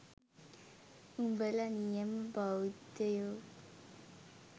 උඹල නියම බෞද්ධයෝ